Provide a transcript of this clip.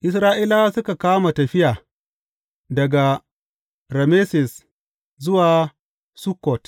Isra’ilawa suka kama tafiya daga Rameses zuwa Sukkot.